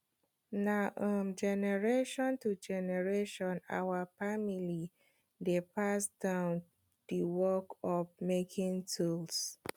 na um generation to generation our family dey pass down the work of making tools